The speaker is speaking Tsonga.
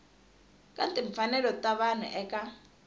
ka timfanelo ta vanhu eka